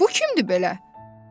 Bu kimdir belə?